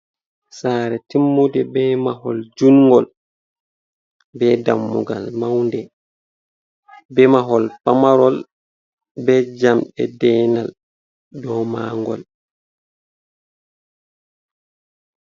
Sare timmude be mahol jungol, be dammugal maunde, be mahol pamarol, be jamɗe deenal dou mangol.